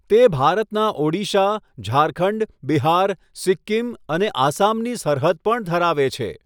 તે ભારતના ઓડિશા, ઝારખંડ, બિહાર, સિક્કિમ અને આસામની સરહદ પણ ધરાવે છે.